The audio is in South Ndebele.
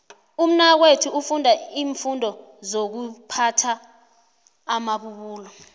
umnakwethu ufunda iimfundo sokuphatha amabubulo